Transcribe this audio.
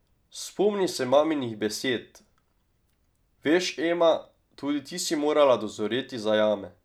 Spomni se maminih besed: "Veš, Ema, tudi ti si morala dozoreti za jame.